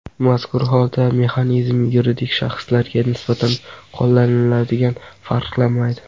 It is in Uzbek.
Mazkur holda mexanizm yuridik shaxslarga nisbatan qo‘llaniladiganidan farqlanmaydi.